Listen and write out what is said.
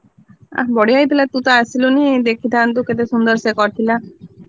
ବଢିଆ ହେଇଥିଲା, ତୁ ତ ଆସିଲୁନି ଦେଖିଥାନ୍ତୁ କେତେ ସୁନ୍ଦର ସେ କରିଥିଲା।